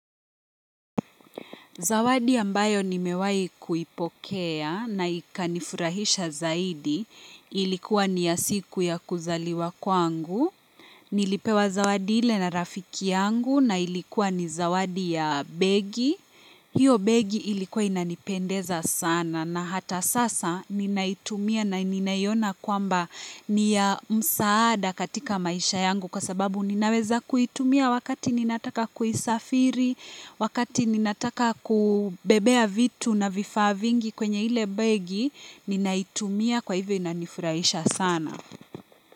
Zawadi ambayo nimewahi kuipokea na ikanifurahisha zaidi ilikuwa ni ya siku ya kuzaliwa kwangu. Nilipewa zawadi ile na rafiki yangu na ilikuwa ni zawadi ya begi. Hiyo begi ilikuwa inanipendeza sana na hata sasa ninaitumia na ninaiona kwamba ni ya msaada katika maisha yangu kwa sababu ninaweza kuitumia wakati ninataka kuisafiri, wakati ninataka kubebea vitu na vifaa vingi kwenye ile begi, ninaitumia kwa hivo inanifurahisha sana.